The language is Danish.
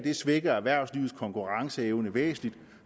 svækker erhvervslivets konkurrenceevne væsentligt